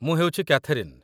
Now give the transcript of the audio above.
ମୁଁ ହେଉଛି କ୍ୟାଥେରିନ୍